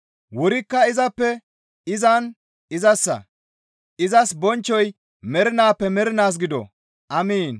Wurikka izappe, izan, izassa; izas bonchchoy mernaappe mernaas gido! Amiin.